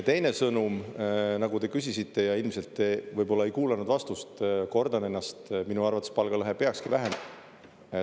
Teine sõnum, nagu te küsisite ja ilmselt te võib-olla ei kuulanud vastust – kordan ennast: minu arvates palgalõhe peakski vähenema.